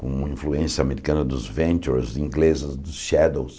com influência americana dos Ventures, ingleses dos Shadows.